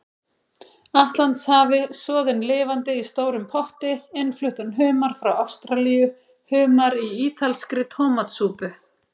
Atlantshafi, soðinn lifandi í stórum potti, innfluttan humar frá Ástralíu, humar í ítalskri tómatsúpu.